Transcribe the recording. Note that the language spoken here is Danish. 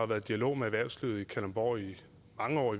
været dialog med erhvervslivet i kalundborg i mange år og